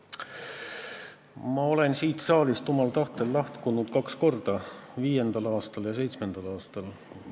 Ma olen siit saalist omal tahtel lahkunud kaks korda, 2005. ja 2007. aastal.